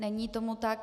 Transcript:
Není tomu tak.